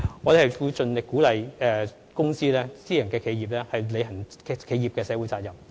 我們會盡力鼓勵公司及私人企業履行其企業社會責任。